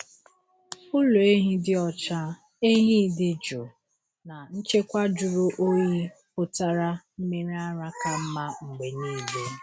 Ụlọ ehi dị ọcha, ehi dị jụụ, na nchekwa jụrụ oyi pụtara mmiri ara ka mma mgbe niile.